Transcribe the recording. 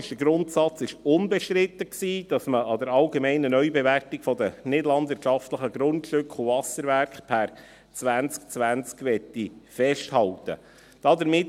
Der Grundsatz war unbestritten, dass man an der allgemeinen Neubewertung der nichtlandwirtschaftlichen Grundstücke und Wasserwerke 2020 festhalten möchte.